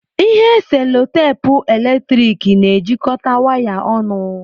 Ihe cello teepu eletrik na-ejikọta waya ọnụ.